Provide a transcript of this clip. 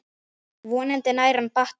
Vonandi nær hann bata.